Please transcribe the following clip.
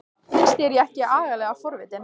Finnst þér ég ekki agalega forvitin?